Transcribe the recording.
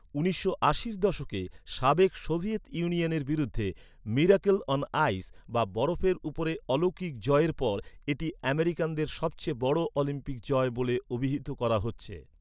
উনিশশো আশির দশকে সাবেক সোভিয়েত ইউনিয়নের বিরুদ্ধে 'মিরাকল অন আইস' বা ‘বরফের উপরে অলৌকিক’ জয়ের পর এটি আমেরিকানদের সবচেয়ে বড় অলিম্পিক জয় বলে অভিহিত করা হচ্ছে।